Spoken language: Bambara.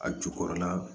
A jukɔrɔla